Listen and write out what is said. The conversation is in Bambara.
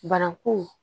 Bana ko